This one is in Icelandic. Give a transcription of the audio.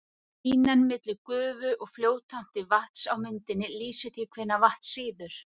Línan milli gufu og fljótandi vatns á myndinni lýsir því hvenær vatn sýður.